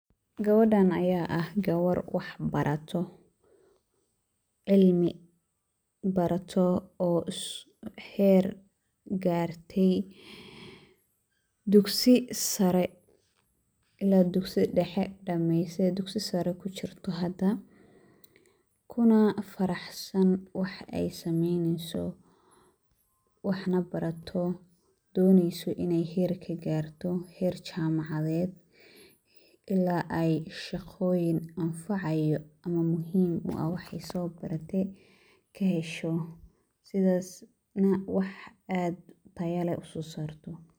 Gabadhaan ayaa ah gabar wax barato, cilmi barato oo heer gaartay duksi sare illaa duksi dhexe dhamaysay duksi sare ku chirto hada, kuna farxsan wax ay samaynayso waxana barato, doonayso in ay heer ka gaarto. Heer jaamacdeed illaa ay shaqooyin anfacayo ama muhiim u ah wax soo baratay ka hesho sidasna wax aad u tayo leh usoo saarto.